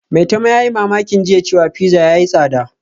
Maitama yayi mamakin jiya cewa pizza yayi tsada